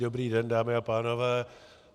Dobrý den, dámy a pánové.